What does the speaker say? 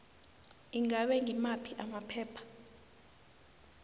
ingabe ngimaphi amaphepha